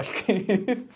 Acho que é isso.